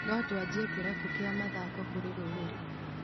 No tũanjie kĩrabu gĩa mathako kũrĩ rũrĩrĩ.